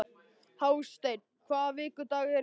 Hásteinn, hvaða vikudagur er í dag?